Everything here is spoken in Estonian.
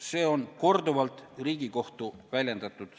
Seda seisukohta on Riigikohus korduvalt väljendanud.